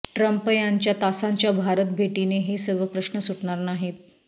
Trump यांच्या तासांच्या भारत भेटीने हे सर्व प्रश्न सुटणार नाहीत